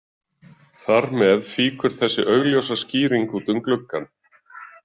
Þar með fýkur þessi augljósa skýring út um gluggann.